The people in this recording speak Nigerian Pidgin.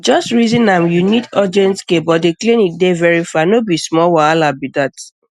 just reason am you need urgent care but the clinic dey very far no be small wahala be that